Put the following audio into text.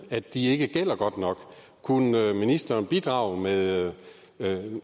at de ikke virker godt nok kunne ministeren bidrage med